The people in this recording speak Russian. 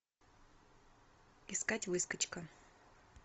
искать выскочка